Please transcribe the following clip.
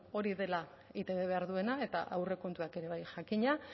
bueno hori dela eitb behar duena eta aurrekontuak ere bai jakina